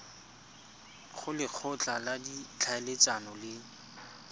go lekgotla la ditlhaeletsano le